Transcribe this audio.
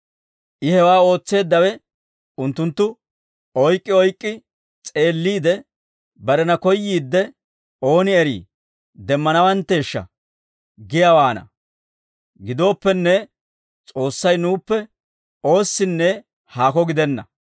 «I hewaa ootseeddawe unttunttu oyk'k'i oyk'k'i s'eelliide, barena koyyiidde, ooni eri demmanawantteeshsha giyaawaana; gidooppenne, S'oossay nuuppe oossinne haako gidenna.